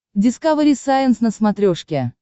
дискавери сайенс на смотрешке